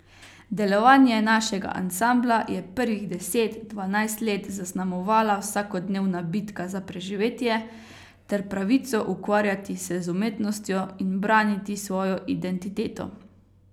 Delovanje našega ansambla je prvih deset, dvanajst let zaznamovala vsakodnevna bitka za preživetje ter pravico ukvarjati se z umetnostjo in braniti svojo identiteto.